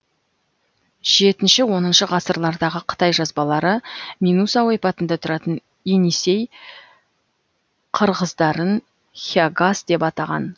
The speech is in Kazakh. жетнші оныншы ғасырлардағы қытай жазбалары минуса ойпатында тұратын енисей қырғыздарын хягас деп атаған